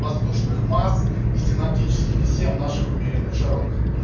воздушных масс и синоптический систем наших умеренных широт